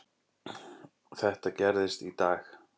Þetta gerðist í dag.